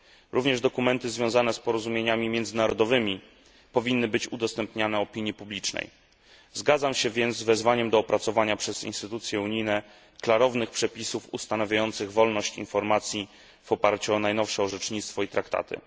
Również dokumenty związane z porozumieniami międzynarodowymi powinny być udostępniane opinii publicznej. Zgadzam się więc z wezwaniem do opracowania przez instytucje unijne klarownych przepisów ustanawiających wolność informacji w oparciu o najnowsze orzecznictwo i traktaty.